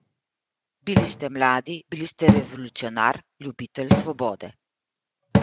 Bili ste mladi, bili ste revolucionar, ljubitelj svobode ...